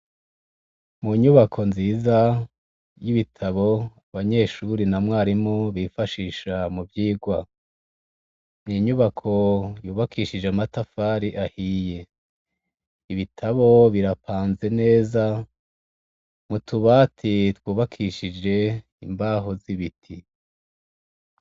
Munyubako nziza y'ibitabo banyeshure na mwarimu bifashisha muvyigwa, n'inyubako yubakishije amatafari ahiye, ibitabo birapanze neza mutubati twubakishije imbaho z'ibiti.